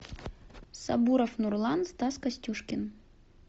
сабуров нурлан стас костюшкин